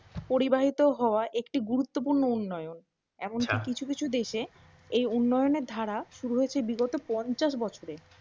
পরিবাহিত হওয়া একটি গুরুত্বপূর্ণ উন্নয়ন। এমনকি কিছু কিছু দেশে এই উন্নয়নের ধারা শুরু হয়েছে বিগত পঞ্ছাশ বছরে।